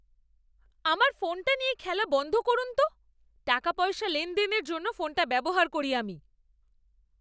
আমার ফোনটা নিয়ে খেলা বন্ধ করুন তো। টাকাপয়সা লেনদেনের জন্য ফোনটা ব্যবহার করি আমি।